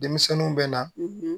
Denmisɛnninw bɛ na